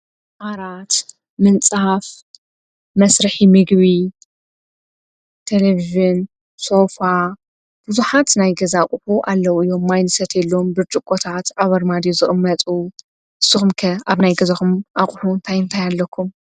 ኣራት ምንጽሓፍ መስርሕ ሚግዊ ተለብዝን ሶፋ ብዙኃት ናይ ገዛቑቡ ኣለዉ እዮም ማይንሰት የሎም ብርጭ ቖታት ዓበር ማዲሩ ዝቕምመጹ ስኹምከ ኣብ ናይ ገዘኹም ኣቝሑን ታይንፋይ ኣለኩም